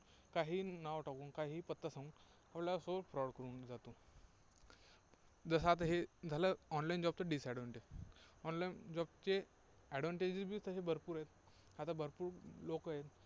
काहीही नाव टाकून, काहीही पत्ता सांगून आपल्यासोबत fraud करून जातो. जसं आता हे झालं online job चं disadvantage online job चे advantage तसे भरपूर आहेत. आता भरपूर लोकं आहेत.